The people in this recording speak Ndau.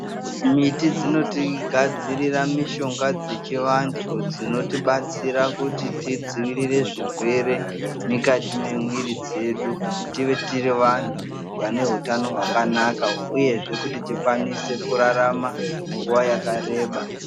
Miti dzinotigadzirira mishonga dzechivantu dzinotibatsira kuti tidzivirire zvirwere mukati memwiri dzedu kuti tive tiri vantu vane utano hwakanaka, uyezve kuti tikwanise kurarama nguwa yakareba.